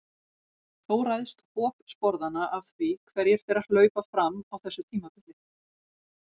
Þó ræðst hop sporðanna af því hverjir þeirra hlaupa fram á þessu tímabili.